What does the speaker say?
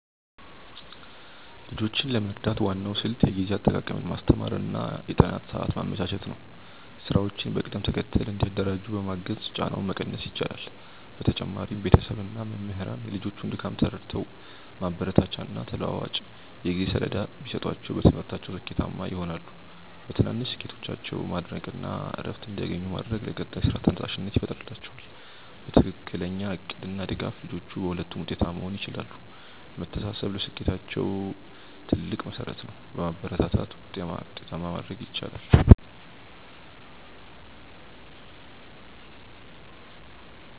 ልጆችን ለመርዳት ዋናው ስልት የጊዜ አጠቃቀምን ማስተማር እና የጥናት ሰዓት ማመቻቸት ነው። ስራዎችን በቅደም ተከተል እንዲያደራጁ በማገዝ ጫናውን መቀነስ ይቻላል። በተጨማሪም ቤተሰብ እና መምህራን የልጆቹን ድካም ተረድተው ማበረታቻና ተለዋዋጭ የጊዜ ሰሌዳ ቢሰጧቸው በትምህርታቸው ስኬታማ ይሆናሉ። በትናንሽ ስኬቶቻቸው ማድነቅ እና እረፍት እንዲያገኙ ማድረግ ለቀጣይ ስራ ተነሳሽነት ይፈጥርላቸዋል። በትክክለኛ እቅድ እና ድጋፍ ልጆቹ በሁለቱም ውጤታማ መሆን ይችላሉ። መተሳሰብ ለስኬታቸው ትልቅ መሠረት ነው። በማበረታታት ውጤታማ ማድረግ ይቻላል።